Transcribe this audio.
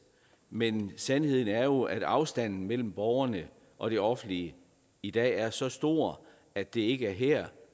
men sandheden er jo at afstanden mellem borgerne og det offentlige i dag er så stor at det ikke er her